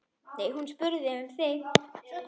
Hún spurði um þig.